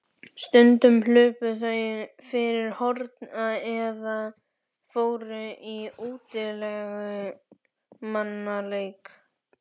Stundum hlupu þau fyrir horn eða fóru í útilegumannaleik.